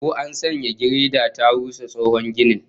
Ko an sanya gireda ta rusa tsohon ginin?